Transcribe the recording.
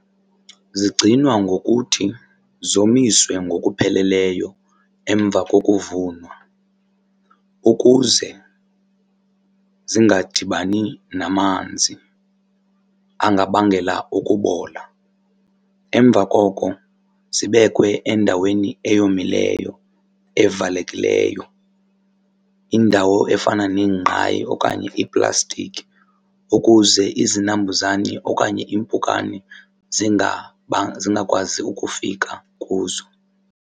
Zigcinwa ngokuthi zomiswe ngokupheleleyo emva kokuvunwa ukuze zingadibani namanzi angabangela ukubola. Emva koko zibekwe endaweni eyomileyo evalekileyo, indawo efana neengqayi okanye iiplastiki ukuze izinambuzane okanye iimpukane zingakwazi ukufika kuzo.